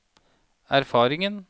erfaringen